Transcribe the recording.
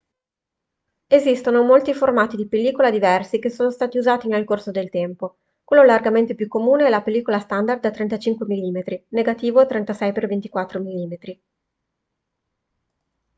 esistono molti formati di pellicola diversi che sono stati usati nel corso del tempo. quello largamente più comune è la pellicola standard da 35 mm negativo 36x24 mm